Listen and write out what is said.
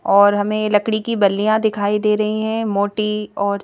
और हमें लकड़ी की बल्लियां दिखाई दे रही हैं मोटी और--